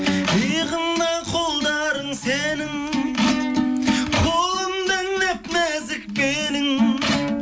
иығымда қолдарың сенің қолымда нәп нәзік белің